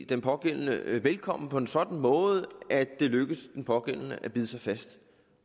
den pågældende velkommen på en sådan måde at det lykkes den pågældende at bide sig fast